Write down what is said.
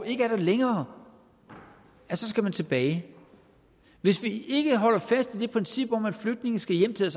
ikke er der længere skal man tilbage hvis vi ikke holder fast i det princip om at flygtninge skal hjem til